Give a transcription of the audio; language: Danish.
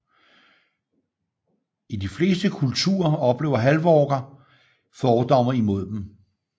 I de fleste kulturer oplever halvorker fordomme imod dem